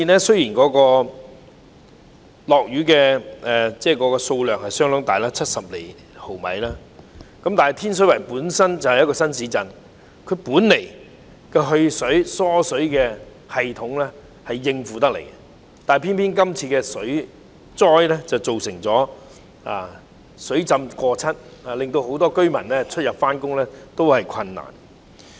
雖然今次的降雨量相當大，達到70毫米，但天水圍是一個新市鎮，其排水和疏水系統本應足以應付，但今次水災卻出現水浸過膝的情況，導致很多居民出入和上班都相當困難。